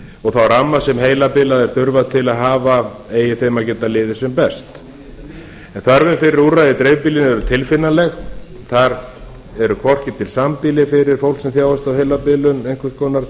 og þá ramma sem heilabilaðir þurfa til að hafa eigi þeim að geta liðið sem best en þörfin fyrir úrræði í dreifbýlinu er tilfinnanleg þar eru hvorki til sambýli fyrir fólk sem þjáist af heilabilun einhvers konar